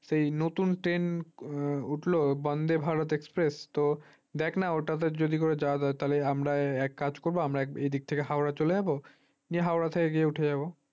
সেই নতুন train উঠলো বন্ধে ভারত express দেখ না ওটাতে যদি করে যাওয়া যায় আমরা এক কাজ করব আমরা এদিক থেকে হাওড়া চলে যাব গিয়ে হাওড়া থেকে গিয়ে উঠে যাব